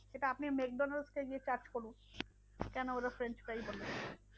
সেটা আপনি ম্যাকডোনালস কে গিয়ে charge করুন। কেন ওরা french fry বলে?